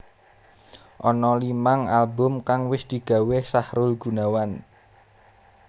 Ana limang album kang wis digawé Sahrul Gunawan